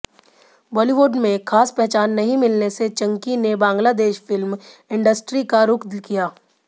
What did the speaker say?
बॉलीवुड में खास पहचान नहीं मिलने से चंकी ने बांग्लादेश फिल्म इंडस्ट्री का रूख किया